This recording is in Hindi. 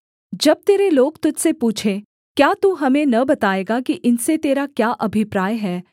जब तेरे लोग तुझ से पूछें क्या तू हमें न बताएगा कि इनसे तेरा क्या अभिप्राय है